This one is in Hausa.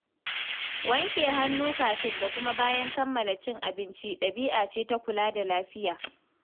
Wanke hannu kafin da kuma bayan kammala cin abinci ɗabi'a ce ta kula da lafiya.